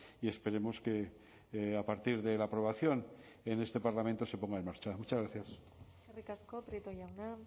y esperemos que a partir de la aprobación en este parlamento se ponga en marcha muchas gracias eskerrik asko prieto jauna